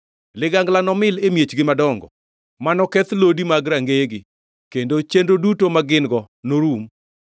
Ligangla nomil e miechgi madongo manoketh lodi mag rangeyegi, kendo chenro duto magin-go norum.